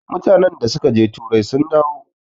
mutanen da suka je turai sun dawo